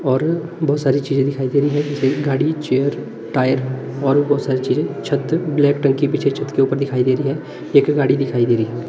और बहुत सारी चीजें दिखाई दे रहे हैं रेलगाड़ी चेयर टायर और भी बोहोत सारी चीजें छत पे ब्लैक टंकी पीछे छत के ऊपर दिखाई दे रही है एक गाड़ी दिखाई दे रही है।